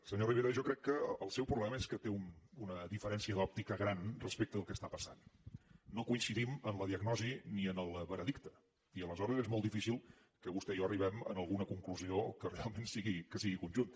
senyor rivera jo crec que el seu problema és que té una diferència d’òptica gran respecte del que està passant no coincidim en la diagnosi ni en el veredicte i aleshores és molt difícil que vostè i jo arribem en alguna conclusió que realment sigui conjunta